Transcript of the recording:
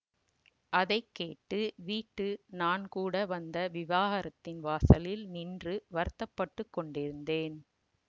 அதை கேட்டு வீட்டு நான்கூட வந்த விஹாரத்தின் வாசலில் நின்று வருத்தப்பட்டுக் கொண்டிருந்தேன்